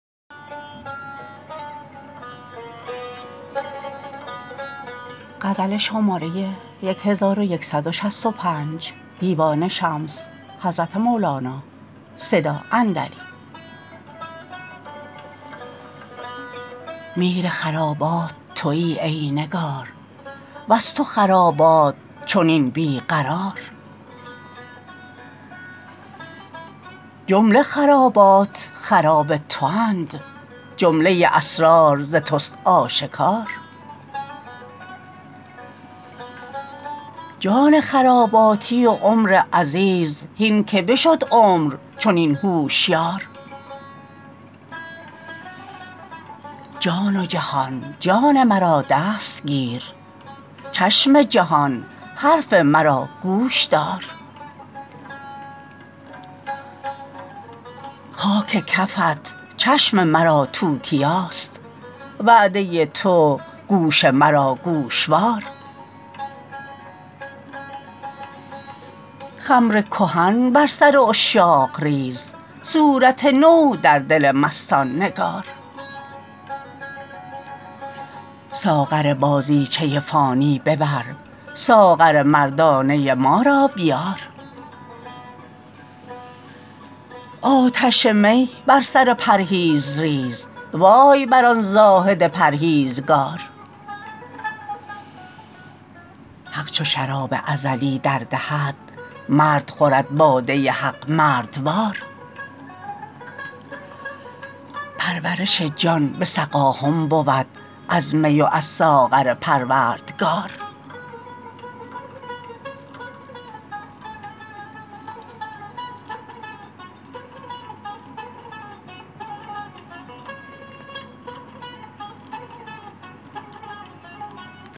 میر خرابات توی ای نگار وز تو خرابات چنین بی قرار جمله خرابات خراب تواند جمله اسرار ز توست آشکار جان خراباتی و عمر عزیز هین که بشد عمر چنین هوشیار جان و جهان جان مرا دست گیر چشم جهان حرف مرا گوش دار خاک کفت چشم مرا توتیاست وعده تو گوش مرا گوشوار خمر کهن بر سر عشاق ریز صورت نو در دل مستان نگار ساغر بازیچه فانی ببر ساغر مردانه ما را بیار آتش می بر سر پرهیز ریز وای بر آن زاهد پرهیزکار حق چو شراب ازلی در دهد مرد خورد باده حق مردوار پرورش جان به سقاهم بود از می و از ساغر پروردگار